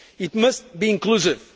bring. It must be inclusive.